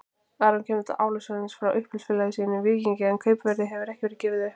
Aron kemur til Álasund frá uppeldisfélagi sínu Víkingi en kaupverðið hefur ekki verið gefið upp.